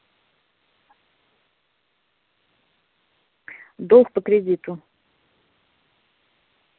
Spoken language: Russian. долг по кредиту